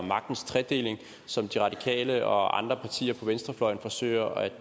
magtens tredeling som de radikale og andre partier på venstrefløjen forsøger at